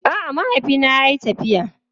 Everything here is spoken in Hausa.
A'a, mahaifina yayi tafiya.